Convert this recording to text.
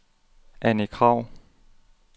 Anni Krag